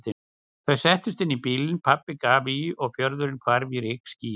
Þau settust inn í bílinn, pabbi gaf í og fjörðurinn hvarf í rykskýi.